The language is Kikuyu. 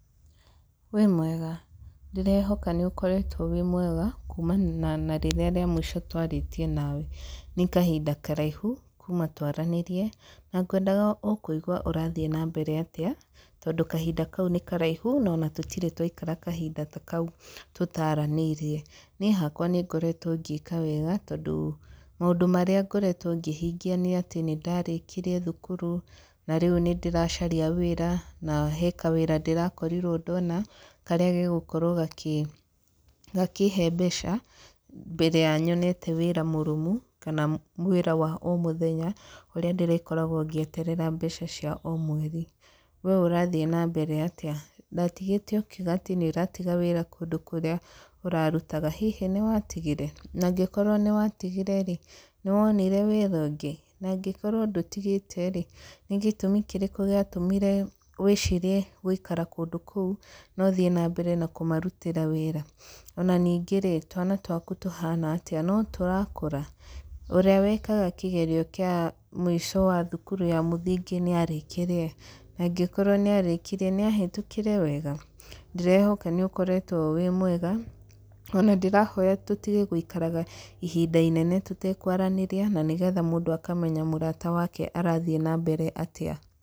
Wĩ mwega? Ndĩrehoka nĩ ũkoretwo wĩ mwega, kumana na rĩrĩa rĩa mũico twarĩtie nawe. Nĩ kahinda karaihu, kuuma twaranĩrie. Na ngwendaga o kũigua ũrathiĩ na mbere atĩa, tondũ kahinda kau nĩ karaihu no ona tũtirĩ twaikara kahinda ta kau tũtaranĩirie. Niĩ hakwa nĩ ngoretwo ngĩka wega, tondũ maũndũ marĩa ngoretwo ngĩhingia nĩ atĩ nĩ ndarĩkirie thukuru, na rĩu nĩ ndĩracaria wĩra, na he kawĩra ndĩrakorirwo ndona, karĩa ge gũkorwo gakĩhe mbeca, mbere ya nyonete wĩra mũrũmu, kana wĩra wa o mũthenya, ũrĩa ndĩrĩkoragwo ngĩeterera mbeca cia o mweri. We ũrathiĩ na mbere atĩa? Ndatigĩte ũkiuga atĩ nĩ ũratiga wĩra kũndũ kũrĩa ũrarutaga. Hihi nĩ watigire? Na angĩkorwo nĩ watigire rĩ, nĩ wonire wĩra ũngĩ? Na angĩkorwo ndũtigĩte rĩ, nĩ gĩtũmi kĩrĩkũ gĩatũmĩre wĩciirie gũikara kũndũ kũu na ũthiĩ na mbere na kũmarutĩra wĩra? Ona ningĩ rĩ, twana twaku tũhana atĩa? No tũrakũra? Ũrĩa wekaga kĩgerio kĩa mũico wa thukuru ya mũthingi nĩ arĩkirie? Na angĩkorwo nĩ arĩkirie, nĩ ahetũkire wega? Ndĩrehoka nĩ ũkoretwo wĩ mwega, ona ndĩrahoya tũtige gũikaraga ihinda inene tũtekwaranĩria, na nĩgetha mũndũ akamenya mũrata wake arathiĩ na mbere atĩa.